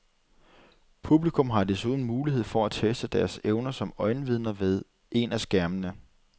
Publikum har desuden mulighed for at teste deres evner som øjenvidner ved en af skærmene.